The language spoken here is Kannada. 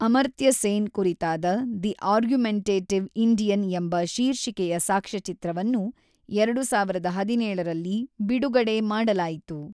ಅಮರ್ತ್ಯ ಸೇನ್ ಕುರಿತಾದ ದಿ ಆರ್ಗ್ಯುಮೆಂಟೇಟಿವ್ ಇಂಡಿಯನ್ ಎಂಬ ಶೀರ್ಷಿಕೆಯ ಸಾಕ್ಷ್ಯಚಿತ್ರವನ್ನು ಎರಡು ಸಾವಿರದ ಹದಿನೇಳರಲ್ಲಿ ಬಿಡುಗಡೆ ಮಾಡಲಾಯಿತು.